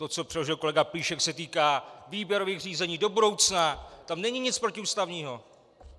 To, co předložil kolega Plíšek, se týká výběrových řízení do budoucna, tam není nic protiústavního.